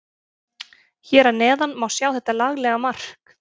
Hér að neðan má sjá þetta laglega mark.